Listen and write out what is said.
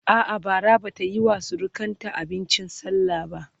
a'a Bara Bata Yi wa surukanta abincin sallah ba